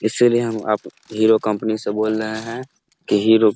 इसीलिए हम आप हीरो कंपनी से बोले है कि हीरो --